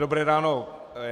Dobré ráno.